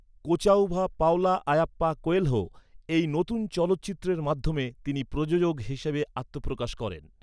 Kochavva Paulo Ayyappa Coelho এই নতুন চলচ্চিত্রের মাধ্যমে তিনি প্রযোজক হিসেবে আত্মপ্রকাশ করেন।